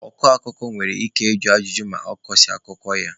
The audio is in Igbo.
Ọ kọ akụkọ nwere ike ịjụ ajụjụ ma ọ kọsịa akụkọ ya.